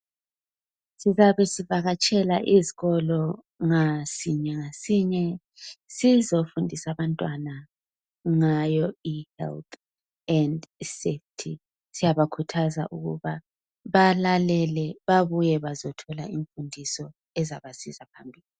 Sizabe sivakatshela izikolo ngasinye ngasinye sifundisa abantwana ngezempilakahle. Siyabakhuthaza ukuthi babuye bazethola imfundiso ezabasiza phambili.